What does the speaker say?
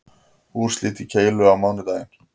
Úrslit í keilu á mánudaginn